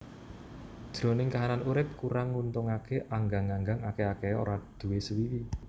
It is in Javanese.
Jroning kahanan urip kurang nguntungaké anggang anggang akèh akèhé ora duwé sewiwi